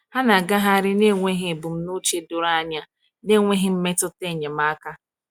ha na agaghari na enweghi ebụmụche dọrọ anya na enweghi mmetụta enyemaka